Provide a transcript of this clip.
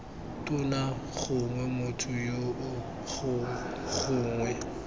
tona gongwe motho yoo gongwe